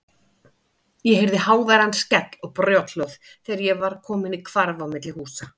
Ég heyrði háværan skell og brothljóð þegar ég var kominn í hvarf á milli húsa.